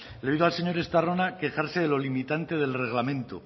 le he oído al señor estarrona quejarse de lo limitante del reglamento